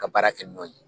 Ka baara kɛ n'o ye